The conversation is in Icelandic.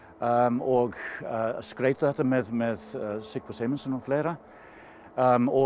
og skreyta þetta með með Sigfús Eymundsson og fleira og